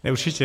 Určitě.